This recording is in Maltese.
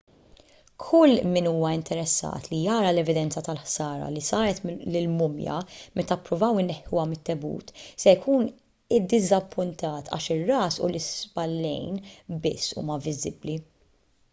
kull min huwa interessat li jara l-evidenza tal-ħsara li saret lill-mumja meta ppruvaw ineħħuha mit-tebut se jkun iddiżappuntat għax ir-ras u l-ispallejn biss huma viżibbli